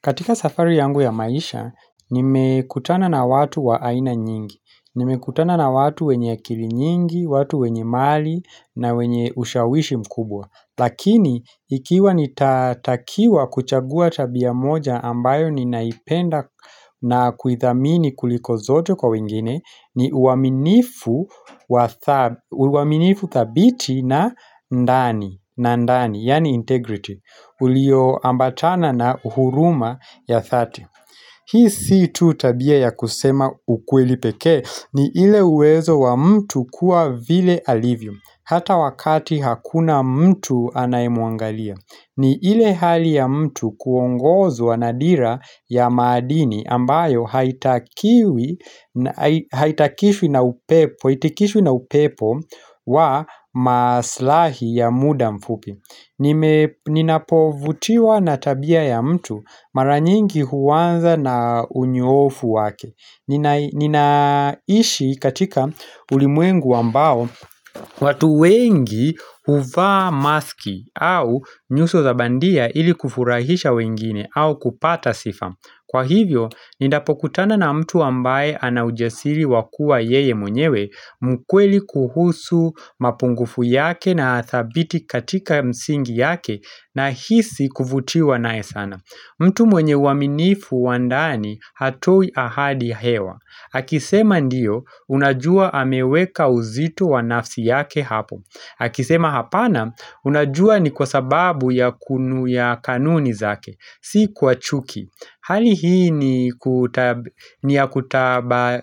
Katika safari yangu ya maisha, nimekutana na watu wa aina nyingi. Ni mekutana na watu wenye akili nyingi, watu wenye mali na wenye ushawishi mkubwa. Lakini, ikiwa ni tatakiwa kuchagua tabia moja ambayo ninaipenda na kuidhamini kuliko zote kwa wengine, ni uaminifu thabiti na ndani, yani integrity. Ulioambatana na uhuruma ya thati. Hii si tu tabia ya kusema ukweli peke ni ile uwezo wa mtu kuwa vile alivyo. Hata wakati hakuna mtu anaemuangalia. Ni ile hali ya mtu kuongozo wa nadira ya madini ambayo haitakishu na upepo wa maslahi ya muda mfupi. Ninapovutiwa na tabia ya mtu mara nyingi huwanza na unyoofu wake Ninaishi katika ulimwengu ambao watu wengi uvaa maski au nyuso za bandia ili kufurahisha wengine au kupata sifa Kwa hivyo, nindapokutana na mtu ambaye anaujasiri wakua yeye mwenyewe mkweli kuhusu mapungufu yake na hathabiti katika msingi yake na hisi kufutiwa nae sana mtu mwenye waminifu wa ndani hatoi ahadi hewa Hakisema ndiyo unajua hameweka uzito wanafsi yake hapo Hakisema hapana unajua ni kwa sababu ya kunu ya kanuni zake Si kwa chuki Hali hii ni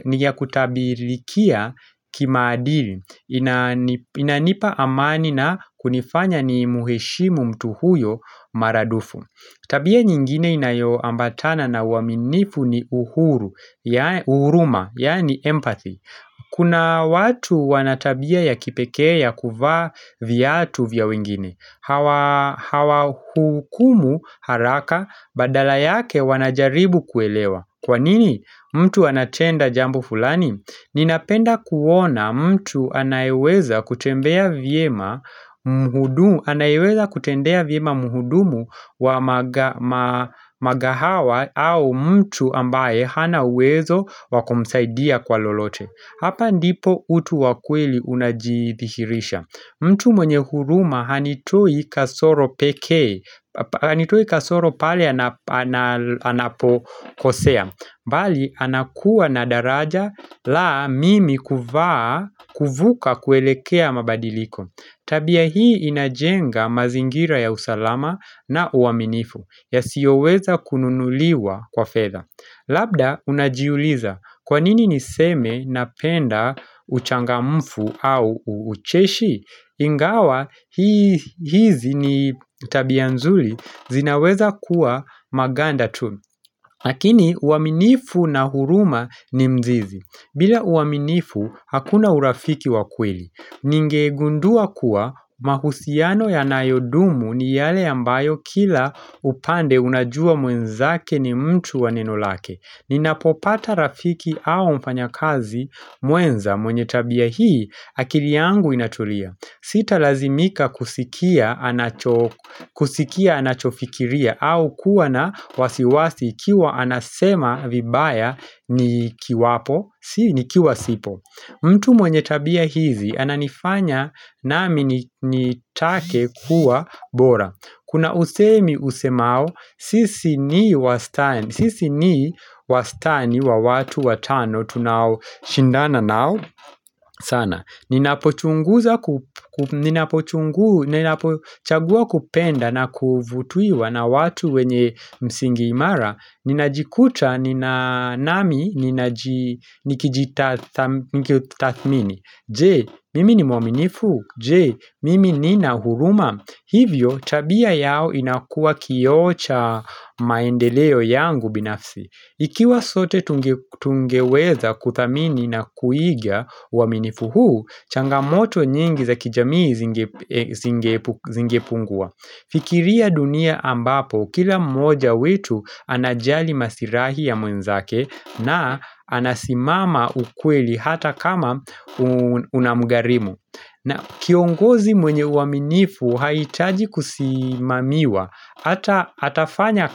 ya kutabirikia kimaadili Inanipa amani na kunifanya ni muheshimu mtu huyo maradufu Tabia nyingine inayoambatana na uwaminivu ni uhuruma, yaani empathy Kuna watu wanatabia ya kipekea ya kuvaa viatu vya wengine Hawa hukumu haraka badala yake wanajaribu kuelewa Kwanini mtu anatenda jambu fulani Ninapenda kuona mtu anayeweza kutendea vyema muhudumu wa magahawa au mtu ambaye hanawezo wakumsaidia kwa lolote Hapa ndipo utu wakweli unajithirisha mtu mwenye huruma hanitoi kasoro pale anapokosea bali anakuwa nadaraja la mimi kuvuka kuelekea mabadiliko Tabia hii inajenga mazingira ya usalama na uaminifu ya siyoweza kununuliwa kwa fedha. Labda unajiuliza kwanini niseme napenda uchangamfu au uucheshi Ingawa hizi ni tabia zuri zinaweza kuwa maganda tu Lakini uaminifu na huruma ni mzizi bila uaminifu hakuna urafiki wa kweli Ningegundua kuwa mahusiano ya nayo dumu ni yale ambayo kila upande unajua mwenzake ni mtu wa neno lake Ninapopata rafiki au mfanyakazi mwenza mwenye tabia hii akili yangu inatulia Sita lazimika kusikia anachofikiria au kuwa na wasiwasi kiwa anasema vibaya ni kiwapo, sii ni kiwasipo mtu mwenye tabia hizi ananifanya na mimi nitake kuwa bora Kuna usemi usemao, sisi ni wastani wa watu watano tunawo shindana nao sana ninapochaguza kupenda na kufutiwa na watu wenye msingi imara, ninajikuta nami nikijita thamini Je, mimi ni mwaminifu? Je, mimi ni nahuruma. Hivyo, tabia yao inakua kioo cha maendeleo yangu binafsi Ikiwa zote tungeweza kudhamini na kuigia uaminifu huu, changamoto nyingi za kijamii zingepungua. Fikiria dunia ambapo, kila moja wetu anajali masirahi ya mwenzake na anasimama ukweli hata kama unamgharimu. Na kiongozi mwenye uaminifu haitaji kusimamiwa Hata atafanya.